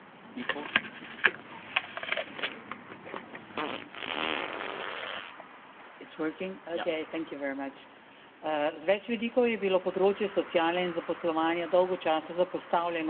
Z več vidikov je bilo področje sociale in zaposlovanja dolgo časa zapostavljeno, zato me veseli, da tudi s tem, da imamo tokrat ločeno poročilo, temu področju namenjamo več pozornosti.